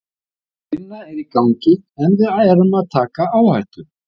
Sú vinna er í gangi en við erum að taka áhættu.